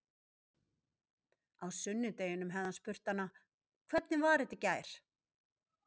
Á sunnudeginum hefði hann spurt hana: Hvernig var þetta í gær?